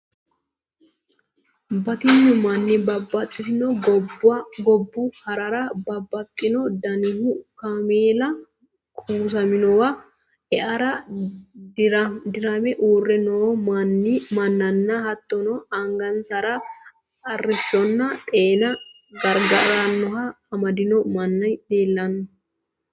Batinyu manni babbaxitino gobbu harara babbaxino danihu kaameela kuusaminowa e"ara dirame uurre noo mannanna hattono angansara arrishshonna xeena gargarannoha amadino manni leellanno